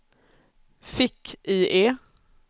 fick-IE